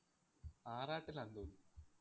ആറാട്ടിലാന്ന് തോന്നുന്നു.